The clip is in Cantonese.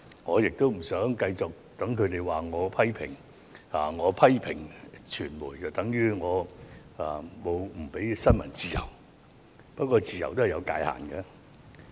我不想繼續被他們指責我，認為我批評傳媒便等於我不允許新聞自由，但自由是有界限的。